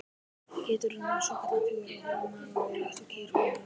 Geitur eru með svokallaðan fjögurra hólfa maga líkt og kýr og önnur jórturdýr.